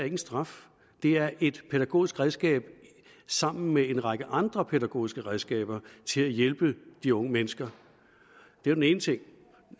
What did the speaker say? en straf det er et pædagogisk redskab sammen med en række andre pædagogiske redskaber til at hjælpe de unge mennesker det var den ene ting